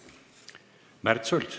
Märt Sults.